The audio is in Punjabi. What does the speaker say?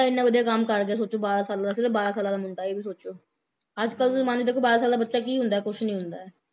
ਇੰਨਾ ਵਧੀਆ ਕੰਮ ਕਰ ਗਿਆ ਸੋਚੋ ਬਾਰ੍ਹਾਂ ਸਾਲਾਂ ਦਾ ਸਿਰਫ ਬਾਰ੍ਹਾਂ ਸਾਲਾਂ ਦਾ ਮੁੰਡਾ ਇਹ ਵੀ ਸੋਚੋ ਅਜਕਲ ਦੇ ਜ਼ਮਾਨੇ 'ਚ ਕੋਈ ਬਾਰ੍ਹਾਂ ਦਾ ਬੱਚਾ ਕੀ ਹੁੰਦਾ ਏ ਕੁਛ ਨੀ ਹੁੰਦਾ ਏ